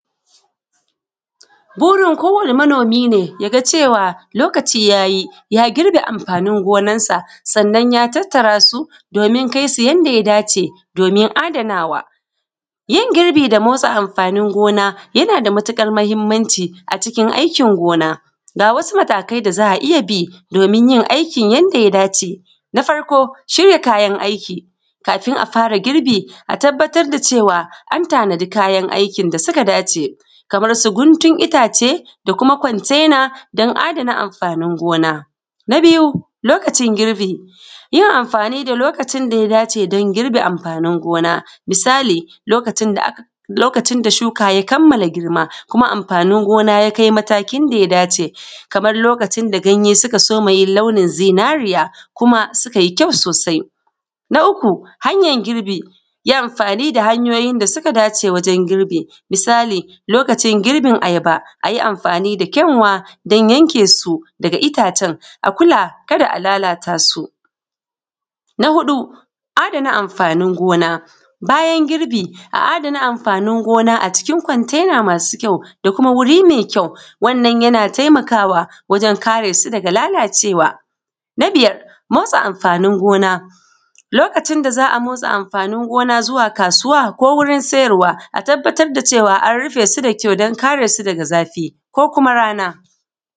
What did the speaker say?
Burin kowane manoomi ne ya ga cewa lokaci yayi ya girbe amfaanin gonansa sannan ya tattarasu doomin kai su yanda ya dace doomin adanawa. Yin girbi da motsa amfaanin gona yana da matuƙar muhimmanci acikin aikin gona, ga wasu matakai da za a iya bi doomin yin aikin yanda ya dace, na farko shirya kayan aiki kafin a fara girbi a tabbatar da cewa an tanadi kayan aikin da suka dace kamar su guntun itaace da kuma kwantaina don adana amfaanin gona. Na biyu lokacin girbi, yin amfaani da lokacin da ya dace don girbe amfaanin gona misali lokacin da aka lokacin da shuka kammala girma kuma amfaanin gona ya kai matakin da ya dace kamar lokacin da ganye suka soma yin launin zinaariya kuma suka yi kyau soosai. Na uku hanyar girbi, yi amfaani da hanyoyin da suka dace wajen girbi misali lokacin girbin ayaba, a yi amfaani da kyanwa don yankeesu daga itaacen akula kada a lalataasu. Na huɗu adana amfaanin gona, bayan girbi a adana amfaanin gona acikin kwantaina maasu kyau da kuma wuri mai kyau, wannan yana taimakaawa wajen karesu daga lalacewa. Na biyar motsa amfaanin gona, lokacin da za a motsa amfaani gona zuwa kaasuwa ko wurin siyarwa a tabbatar da cewa an rufe su da kyau don kare su daga zafi ko kuma rana